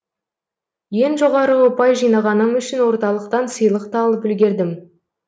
ең жоғары ұпай жинағаным үшін орталықтан сыйлық та алып үлгердім